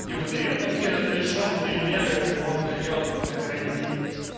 дима ты видел какие разрешённые меры можно делать на карантине